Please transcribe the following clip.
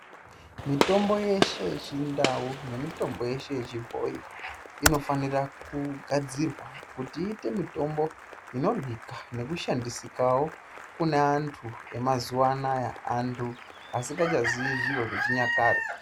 Mitombo yeshe yechindau nemitombo yeshe yechibhoyi inofanira kugadzirwa kuti iite mitombo inoryika nekushandisikawo kune antu emazuva anaya antu asikachazii zviro zvechinyakare.